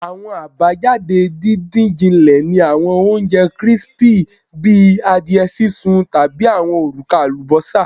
Awọn abajade didin-jinle ni awọn ounjẹ crispy bi adiẹ sisun tabi awọn oruka alubosa